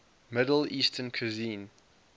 middle eastern cuisine